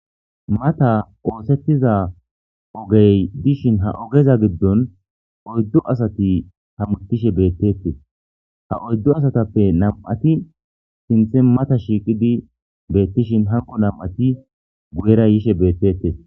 mata oosettiza ogey dishin ha ogeza giddon oyddu asati hammutishe beettettes ha oyddu asatappe nam7ati sinthe mata shiiqidi beettishin hanqo nam7ati guyera yishe beettettes